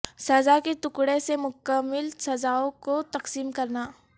سزا کے ٹکڑے سے مکمل سزاوں کو تقسیم کرنا